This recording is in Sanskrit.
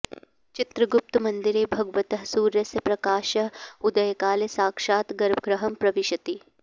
चित्रगुप्तमन्दिरे भगवतः सूर्यस्य प्रकाशः उदयकाले साक्षात् गर्भगृहं प्रविशति